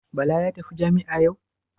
Bala ya tafi jami'a yau?